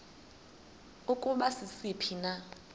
ukuba sisiphi na